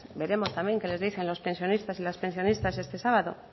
veremos también qué les dicen los pensionistas y las pensionistas este sábado